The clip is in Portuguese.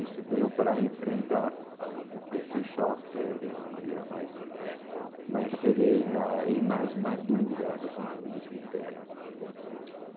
Isso deu para enfrentar este choque de uma maneira mais mais serena e mais madura do ponto de vista interno.